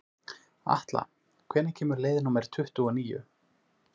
Atla, hvenær kemur leið númer tuttugu og níu?